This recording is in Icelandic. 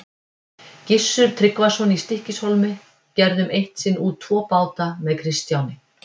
Gissur Tryggvason í Stykkishólmi gerðum eitt sinn út tvo báta með Kristjáni.